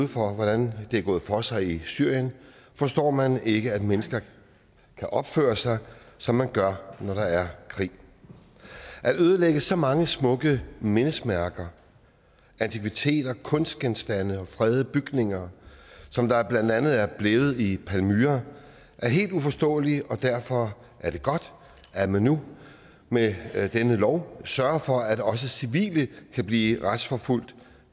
hvordan det er gået for sig i syrien forstår man ikke at mennesker kan opføre sig som man gør når der er krig at ødelægge så mange smukke mindesmærker antikviteter kunstgenstande og fredede bygninger som der blandt andet er blevet ødelagt i palmyra er helt uforståeligt og derfor er det godt at man nu med denne lov sørger for at også civile kan blive retsforfulgt